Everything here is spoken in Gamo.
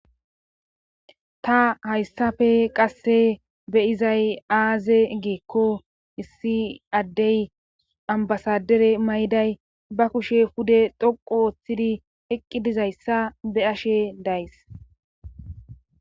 ta hayssafe qasse beyizay aaze geekko issi addey ambasadere mayday ba kushe pude dhoqo wooththidi eqqidizayssa be'ashe days